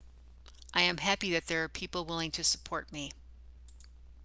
i am happy that there are people willing to support me